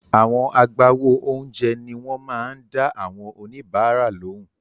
Àwọn agbáwo oúnjẹ ni wọ́n máa ń dá àwọn oníbàárà lóhùn.